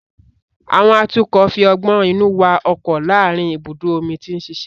Àwọn atukọ̀ fi ọgbọ́n inú wa ọkọ̀ láàárín ibùdó omi tí ń ṣiṣẹ́